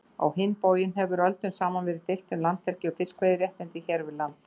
Á hinn bóginn hefur öldum saman verið deilt um landhelgi og fiskveiðiréttindi hér við land.